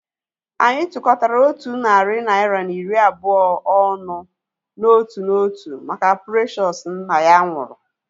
Anyị tukọtara otu narị naira na iri abụọ ọnụ n'otu n'otu maka Precious nna ya nwụrụ